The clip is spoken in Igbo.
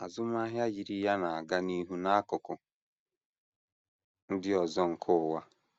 Azụmahịa yiri ya na - aga n’ihu n’akụkụ ndị ọzọ nke ụwa.